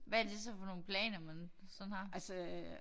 Hvad er det så for nogle planer man sådan har?